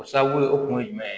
O sababu ye o kun ye jumɛn ye